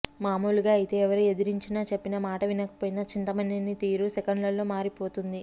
మామూలుగా అయితే ఎవరు ఎదిరించినా చెప్పిన మాట వినకపోయినా చింతమనేని తీరు సెకనల్లో మారిపోతుంది